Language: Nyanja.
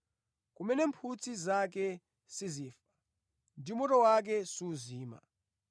kumene “ ‘mphutsi zake sizifa ndipo moto wake suzima.’